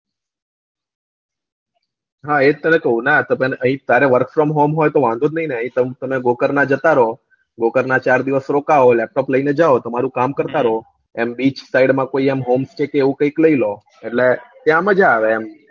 હા એજ તને કવ ના તને આઈય તારે work from home તો વાંધો જ ની ને તમે જતા રો ચાર દિવસ રોકવો laptop લીન જાવ તમારું કામ કરતા રો એમ beach said માં કોય home કે એવું કૈક લઇ લો તો ત્યાં મજા આવે